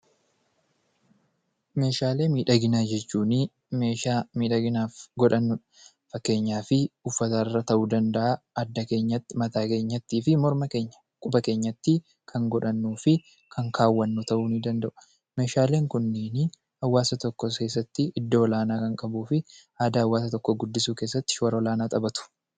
Meeshaalee miidhaginaa jechuun meeshaalee miidhaginaaf godhanuudha. Fakkeenyaaf uffata irratti ta'uu danda'a, adda keenya irratti ,mataa keenyatti, morma keenyatti fi quba keenyatti kan godhannuu fi kaawwannu ta'uu danda'u. Meeshaaleen kunneen hawwaasa tokko keessatti iddoo Olaanaa kan qabuu fi aadaa hawwaasa saba tokkoo guddisuu keessatti shoora olaanaa taphatu.